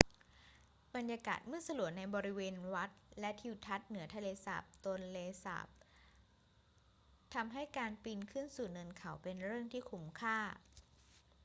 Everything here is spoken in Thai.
บรรยากาศมืดสลัวในบริเวณวัดและทิวทัศน์เหนือทะเลสาบโตนเลสาบทำให้การปีนขึ้นสู่เนินเขาเป็นเรื่องที่คุ้มค่า